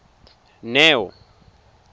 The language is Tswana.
neo